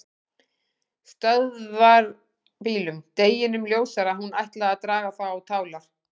Stöðvarbílum, deginum ljósara að hún ætlaði að draga þá á tálar.